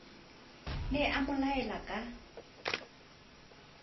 ne a mo laile ka